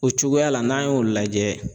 O cogoya la n'an y'o lajɛ